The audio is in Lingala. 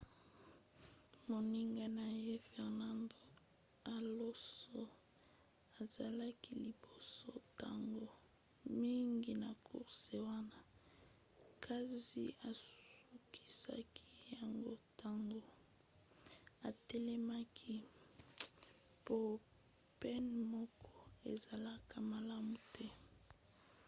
moninga na ye fernando alonso azalaki liboso ntango mingi na course wana kasi asukisaki yango ntango atelemaki po pneu moko ezalaka malamu te